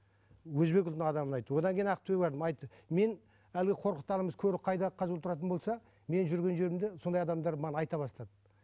өзбек ұлтының адамы айтты одан кейін ақтөбеге бардым айтты мен әлгі қорықтарымыз көрік қайда қазылу тұратын болса мен жүрген жерімде сондай адамдар маған айта бастады